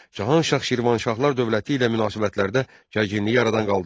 Cahan Şah Şirvanşahlar dövləti ilə münasibətlərdə gərginliyi aradan qaldırdı.